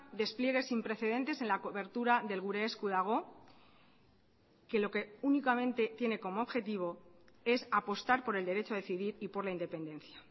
despliegues sin precedentes en la cobertura del gure esku dago que lo que únicamente tiene como objetivo es apostar por el derecho a decidir y por la independencia